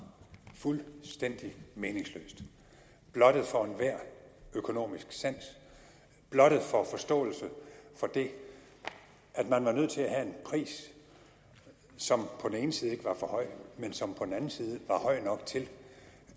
fuldstændig meningsløst blottet for enhver økonomisk sans blottet for forståelse for det at man var nødt til at have en pris som på den ene side ikke var for høj men som på den anden side var høj nok til